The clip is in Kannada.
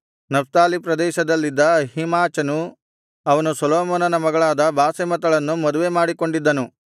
ನಫ್ತಾಲಿ ಪ್ರದೇಶದಲ್ಲಿದ್ದ ಅಹೀಮಾಚನು ಅವನು ಸೊಲೊಮೋನನ ಮಗಳಾದ ಬಾಸೆಮತಳನ್ನು ಮದುವೆಮಾಡಿಕೊಂಡಿದ್ದನು